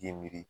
Ye miiri